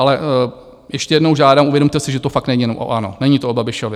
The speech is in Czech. Ale ještě jednou žádám, uvědomte si, že to fakt není jenom o ANO, není to o Babišovi.